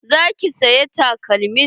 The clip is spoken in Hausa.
Za ki saya takalmin?